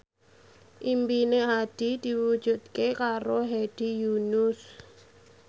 impine Hadi diwujudke karo Hedi Yunus